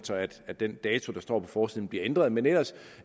at den dato der står på forsiden bliver ændret men ellers